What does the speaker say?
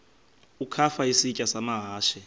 ukafa isitya amahashe